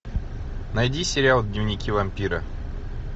найди сериал дневники вампира